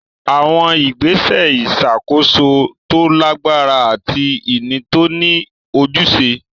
Àwọn ìgbésẹ̀ ìṣàkóso tó lágbára àti ìní tó ní ojúṣe.